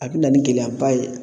A be na ni gɛlɛyaba ye